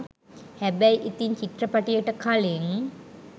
හැබැයි ඉතින් චිත්‍රපටියට කලින්